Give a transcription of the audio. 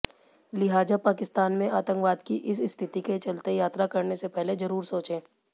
लिहाजा पाकिस्तान में आतंकवाद की इस स्थिति के चलते यात्रा करने से पहले जरूर सोचें